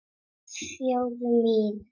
Þjóð mín!